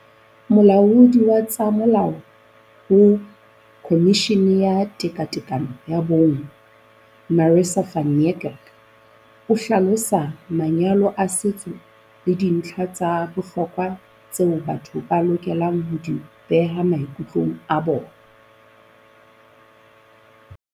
Molaodi wa tsa molao ho Khomishini ya Tekatekano ya Bong Marissa van Niekerk o hlalosa manyalo a setso le dintlha tsa bohlokwa tseo batho ba lokelang ho di beha maikutlong a bona.